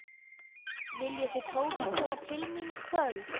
Viljið þið Tóti koma til mín í kvöld?